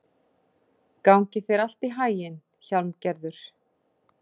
Gangi þér allt í haginn, Hjálmgerður.